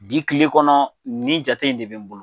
Bi kile kɔnɔ ni jate in de bɛ n bolo.